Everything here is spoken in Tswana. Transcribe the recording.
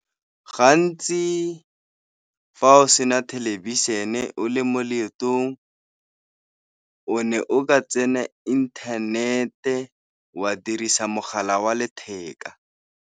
Gantsi fa o sena thelebišhene o le mo leetong, o ne o ka tsena internet-e, wa dirisa mogala wa letheka.